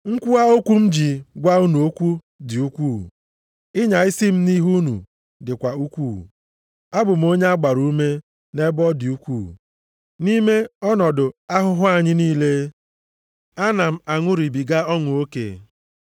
Nkwuwa okwu m ji gwa unu okwu dị ukwuu; ịnya isi m nʼihi unu dịkwa ukwuu. Abụ m onye a gbara ume nʼebe ọ dị ukwu, nʼime ọnọdụ ahụhụ anyị niile, ana m aṅụrịbiga ọṅụ oke.